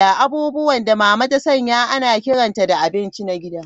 Abubuwan da Mama ta sanya ana kiranta da abinci na gida.